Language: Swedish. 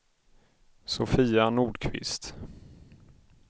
Sofia Nordqvist